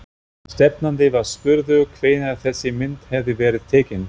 Stefnandi var spurður hvenær þessi mynd hefði verið tekin?